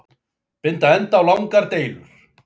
Binda enda á langar deilur